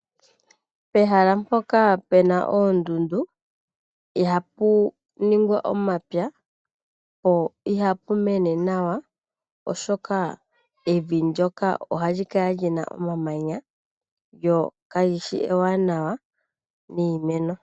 Pehala mpoka puna oondundu ihapu ningwa omapya, po ihapu mene nawa, oshoka evi ndyoka ohali kala lina omamanya, lyo kalishi ewanawa niimeno.